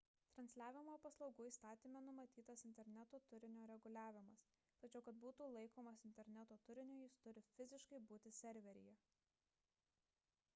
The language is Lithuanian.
transliavimo paslaugų įstatyme numatytas interneto turinio reguliavimas tačiau kad būtų laikomas interneto turiniu jis turi fiziškai būti serveryje